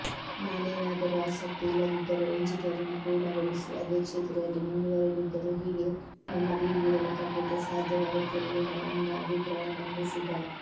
ನಾನೇನಾದರೂ ಆಸಕ್ತಿ ಇಲ್ಲದಿದ್ದರೂ ಎಂಜಿನಿಯರಿಂಗ್ ಪೂರ್ಣಗೊಳಿಸಿ ಅದೇ ಕ್ಷೇತ್ರದಲ್ಲಿ ಮುಂದುವರಿದಿದ್ದರೆ ಹೀಗೆ ನೆಮ್ಮದಿಯಿಂದಿರಲು ಖಂಡಿತಾ ಸಾಧ್ಯವಾಗುತ್ತಿರಲಿಲ್ಲ ಎಂಬ ಅಭಿಪ್ರಾಯ ಮಂಡಿಸಿದ